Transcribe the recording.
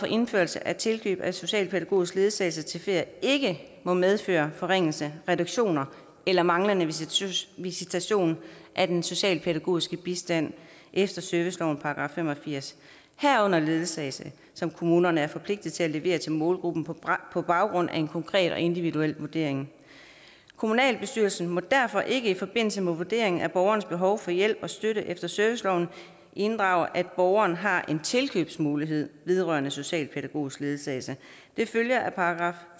indførelse af tilkøb af socialpædagogisk ledsagelse til ferie ikke må medføre forringelser reduktioner eller manglende visitation af den socialpædagogiske bistand efter servicelovens § fem og firs herunder ledsagelse som kommunerne er forpligtet til at levere til målgruppen på baggrund af en konkret og individuel vurdering kommunalbestyrelsen må derfor ikke i forbindelse med vurderingen af borgerens behov for hjælp og støtte efter serviceloven inddrage at borgeren har en tilkøbsmulighed vedrørende socialpædagogisk ledsagelse det følger af §